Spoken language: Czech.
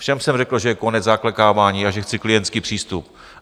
Všem jsem řekl, že je konec zaklekávání a že chci klientský přístup.